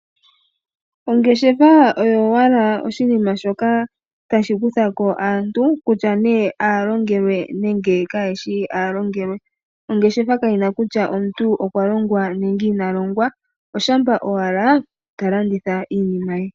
Ongeshefa oyo owala oshinima shoka tashi kutha ko aantu kutya nee aalongelwe nenge kayeshi aalongelwe. Ongeshefa kayina kutya omuntu okwa longwa nenge ina longwa shampa owala ta landitha iinima ye.